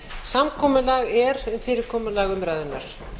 samkomulag er um fyrirkomulag umræðunnar